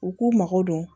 U k'u mago don